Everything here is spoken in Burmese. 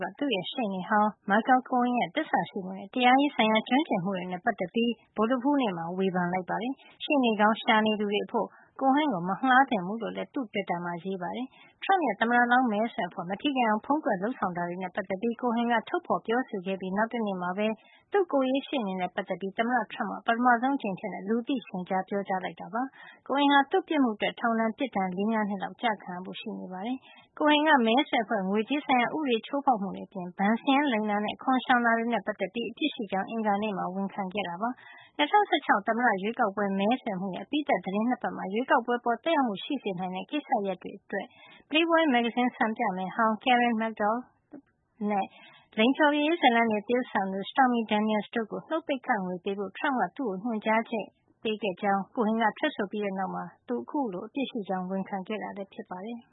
က သူ့ရဲ့ ရှေ့နေဟောင်း Michael Cohen ရဲ့ သစ္စာရှိမှုနဲ့ တရားရေးဆိုင်ရာ ကျွမ်းကျင်မှုတွေနဲ့ ပတ်သက်ပြီး ဗုဒ္ဓဟူးနေ့မှာ ဝေဖန်လိုက်ပါတယ်။ ရှေ့နေကောင်း ရှာနေသူတွေ အဖို့ Cohen ကို မငှါးသင့်ဘူး လို့လည်း သူ့ တွစ်တာမှာ ရေးပါတယ်။ Trump ရဲ့ သမ္မတလောင်း မဲဆွယ်အဖွဲ့ မထိခိုက်အောင် ဖုံးကွယ်လုပ်ဆောင်ခဲ့တာ တွေနဲ့ ပတ်သက်ပြီး Cohen ကထုတ်ဖေါ် ပြောဆိုခဲ့ပြီး နောက်တနေ့မှာပဲ သူ့ကိုယ်ရေးရှေ့နေနဲ့ ပတ်သက်ပြီး သမ္မတ Trump က ပထမဆုံးအကြိမ် လူသိရှင်ကြားး ပြောကြားလိုက်တာလည်း ဖြစ်ပါတယ်။ Cohen ဟာ သူ့ပြစ်မှုအတွက် ထောင်ဒဏ်ပြစ်ဒဏ် ၄ - ၅ နှစ်လောက် ကျခံရဖို့ ရှိပါတယ်။ Cohen က မဲဆွယ်အဖွဲ့ ငွေကြေးဆိုင်ရာ ဥပဒေချိုးဖေါက်မှုတွေ အပြင် ဘဏ်စာရင်းလိမ်တာနဲ့ အခွန်ရှောင်တာတွေ နဲ့ ပတ်သက်ပြီး အပြစ်ရှိကြောင်း အင်္ဂါနေ့မှာ ဝန်ခံခဲ့တာပါ။ ၂၀၁၆ သမ္မတရွေးကောက်ပွဲ မဲဆွယ်မှုရဲ့ အပြီးသတ် သီတင်း ၂ ပတ်မှာ ရွေးကောက်ပွဲ အပေါ် သက်ရောက်မှု ရှိစေနိုင်တဲ့ ကိစ္စရပ်တွေအတွက် Playboy မဂ္ဂဇင်း စံပြမယ်ဟောင်း Karen McDougal နဲ့ လိင်ဖျော်ဖြေရေး ဇာတ်လမ်းတွေ သရုပ်ဆောင်သူ Stormy Daniels တို့ကို နှုတ်ပိတ်ခ ငွေပေးဖို့ Trump က သူ့ကို ညွှန်ကြားခဲ့ကြောင်း Cohen က ထွက်ဆိုခဲ့ပြီးတဲ့ နောက်မှာ သူအခုလို အပြစ်ရှိကြောင်း ဝန်ခံခဲ့တာ ဖြစ်ပါတယ်